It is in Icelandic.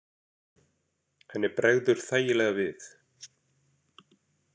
Henni bregður þægilega við.